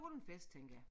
Holde en fest tænker jeg